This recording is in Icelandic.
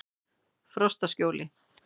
Frostaskjóli